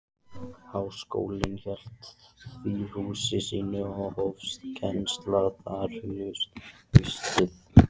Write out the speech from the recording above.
Háskólinn hélt því húsi sínu, og hófst kennsla þar haustið